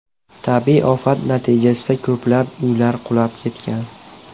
Tabiiy ofat natijasida ko‘plab uylar qulab ketgan.